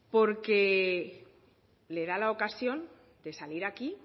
porque le da la ocasión de salir aquí